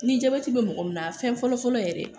Ni jabɛti be mɔgɔ min na fɛn fɔlɔ fɔlɔ yɛrɛ